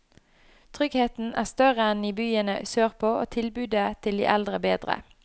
Tryggheten er større enn i byene sørpå, og tilbudet til de eldre bedre.